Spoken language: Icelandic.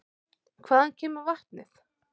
Hvaðan kemur vatnið?